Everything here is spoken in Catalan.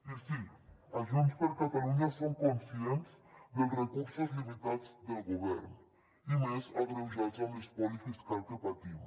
i sí a junts per catalunya som conscients dels recursos limitats del govern i a més agreujats amb l’espoli fiscal que patim